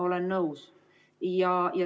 Olen nõus.